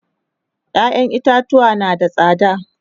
ƴaƴan itatuwa na da tsada